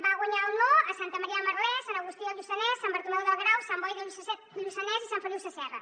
va guanyar el no a santa maria de merlès sant agustí de lluçanès sant bartomeu del grau sant boi de lluçanès i sant feliu sasserra